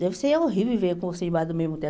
Deve ser horrível viver com você embaixo do mesmo teto.